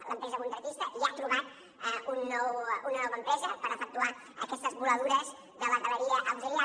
l’empresa contractista ja ha trobat una nova empresa per efectuar aquestes voladures de la galeria auxiliar